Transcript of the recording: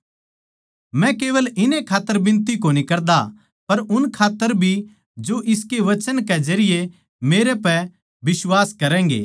मै केवल इन्ने खात्तर बिनती कोनी करदा पर उन माणसां खात्तर भी जो इनकै वचन कै जरिये मेर पै बिश्वास करैगें